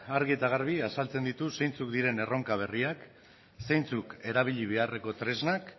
argi eta garbi azaltzen ditu erronka berriak zeintzuk erabili beharreko tresnak